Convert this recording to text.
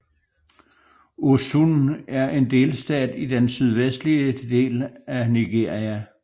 Osun er en delstat i den sydvestlige del af Nigeria